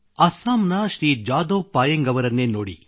ಅಸ್ಸಾಂನ ಶ್ರೀ ಜಾದವ್ ಪಾಯೆಂಗ್ ಅವರನ್ನೇ ನೋಡಿ